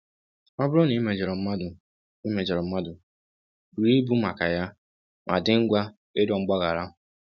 Ọ bụrụ na i mejọrọ mmadụ i mejọrọ mmadụ, buru ibu maka ya ma dị ngwa ịrịọ mgbaghara.